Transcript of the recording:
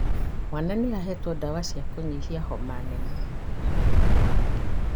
Mwana nĩahetwo ndawa cia kũnyihia homa nene